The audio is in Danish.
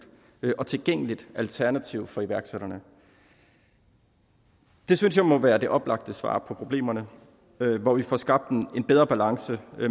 og tilgængeligt alternativ for iværksætterne det synes jeg må være det oplagte svar på problemerne hvor vi får skabt en bedre balance